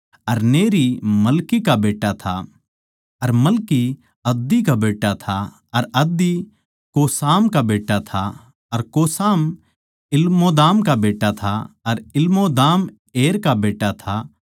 अर Neri Melchi का बेट्टा था अर मलकी अद्दी का बेट्टा था अर अद्दी कोसाम का बेट्टा था अर कोसाम इलमोदाम का बेट्टा था अर इलमोदाम एर का बेट्टा था